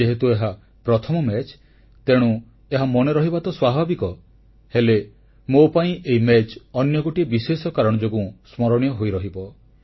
ଯେହେତୁ ଏହା ପ୍ରଥମ ମ୍ୟାଚ ତେଣୁ ଏହା ମନେରହିବା ତ ସ୍ୱାଭାବିକ ହେଲେ ମୋ ପାଇଁ ଏହି ମ୍ୟାଚ ଅନ୍ୟ ଗୋଟିଏ ବିଶେଷ କାରଣ ଯୋଗୁଁ ସ୍ମରଣୀୟ ହୋଇରହିବ